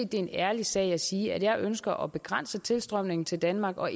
det er en ærlig sag at sige at jeg ønsker at begrænse tilstrømningen til danmark og